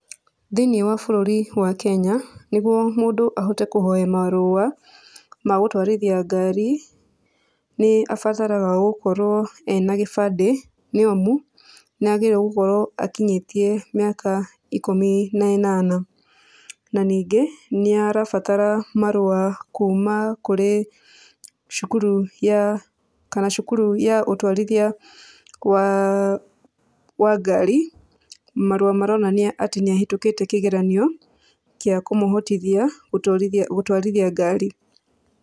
Thĩiniĩ wa bũrũri wa Kenya, nĩguo mũndũ ahote kũhoya marũa, ma gũtwarithia ngari, nĩ abataraga gũkorwo ena gĩbandĩ, nĩ amu, nĩ agĩrĩire gũkorwo akĩnyĩtie mĩaka ikũmi na ĩnana. Na ningĩ, nĩ arabatara marũa kuuma kũrĩ cukuru ya kana cukuru ya ũtwarithia wa wa ngari, marũa maronania atĩ nĩ ahĩtũkĩte kĩgeranio kĩa kũmũhotithia, gũtwarithia gũtwarithia ngari.